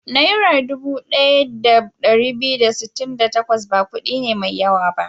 Naira dubu ɗaya da ɗari biyu da sittin da takwas ba kuɗi ne mai yawa ba.